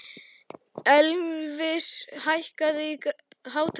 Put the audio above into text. Elvis, hækkaðu í hátalaranum.